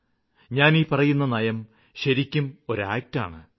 ഞാന് ഈ പറയുന്ന നയം ശരിക്കും കിഴക്കിന് വേണ്ടിയുള്ള ഒരു പ്രയത്നമാണ്